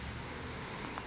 task force ietf